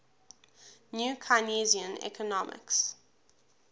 new keynesian economics